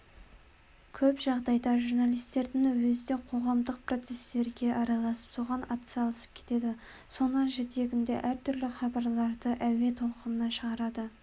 көп жағдайда журналистердің өзі де қоғамдық процесстерге араласып соған атсалысып кетеді соның жетегінде әртүрлі хабарларды әуе толқынына шығарады